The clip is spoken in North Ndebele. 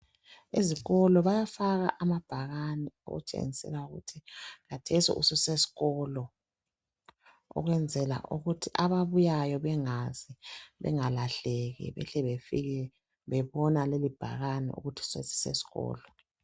Ezikolo bayafaka amabhakani ukutshengisela ukuthi khathesi ususesikolo, ukwenzela ukuthi ababuyayo bengazi bengalahleki behle befika bebona leli bhakane ukuthi sesisesikolo.